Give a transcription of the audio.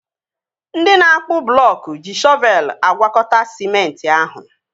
Ndị na-akpụ blọọk ji shọvelu agwakọta sịmenti ahụ